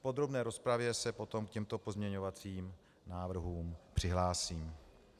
V podrobné rozpravě se potom k těmto pozměňovacím návrhům přihlásím.